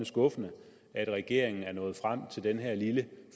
skuffende at regeringen er nået frem til den her lille